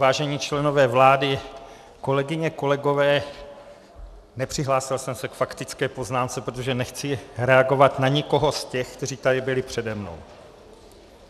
Vážení členové vlády, kolegyně, kolegové, nepřihlásil jsem se k faktické poznámce, protože nechci reagovat na nikoho z těch, kteří tady byli přede mnou.